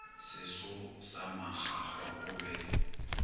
seso sa makgwakgwa o be